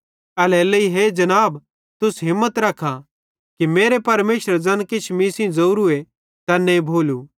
एल्हेरेलेइ हे जनाब तुस हिम्मत रखा कि मेरे परमेशरे ज़ैन किछ मीं सेइं ज़ोरूए तैन्ने भोलू